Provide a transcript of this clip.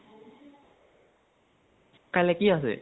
কাইলে কি আছে?